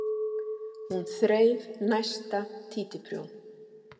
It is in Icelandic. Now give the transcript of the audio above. Hún þreif næsta títuprjón.